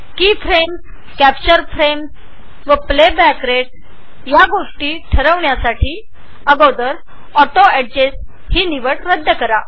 की frames capture frames आणि playback rate निश्चित करण्यासाठी सर्वप्रथम ऑटो अॅडजेस्ट अनचेक करा